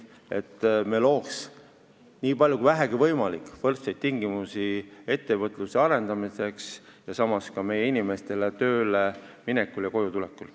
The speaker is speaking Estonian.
Me peaksime looma nii palju kui vähegi võimalik võrdseid tingimusi ettevõtluse arendamiseks ja samas ka meie inimestele võrdseid tingimusi tööle minekul ja sealt koju tulekul.